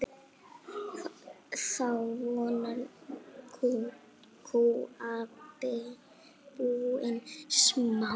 Þá voru kúabúin smá.